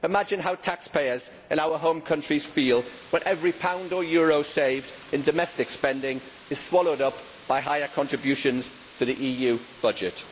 Imagine how taxpayers in our home countries feel when every pound or euro saved in domestic spending is swallowed up by higher contributions to the EU budget.